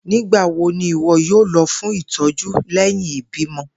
Nigbawo ni iwọ yoo lọ fun itọju lẹhin ibimọ?